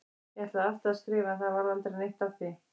Ég ætlaði alltaf að skrifa en það varð aldrei neitt af því.